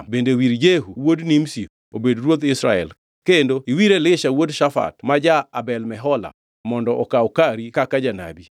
Bende wir Jehu wuod Nimshi obed ruodh Israel, kendo iwir Elisha wuod Shafat ma ja-Abel Mehola mondo okaw kari kaka janabi.